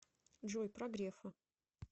джой про грефа